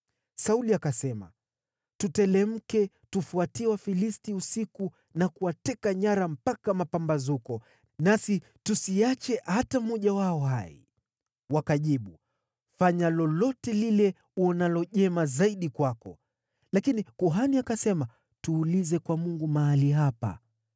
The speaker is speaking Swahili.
Sauli akasema, “Tuteremke tufuatie Wafilisti usiku na kuwateka nyara mpaka mapambazuko, nasi tusiache hata mmoja wao hai.” Wakajibu, “Fanya lolote lile uonalo jema zaidi kwako.” Lakini kuhani akasema, “Tuulize kwa Mungu mahali hapa.”